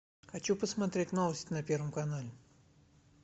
хочу посмотреть новости на первом канале